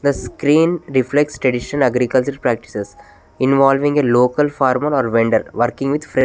The screen reflects tradition agriculture practises involving a local farmer or vendor working with fre --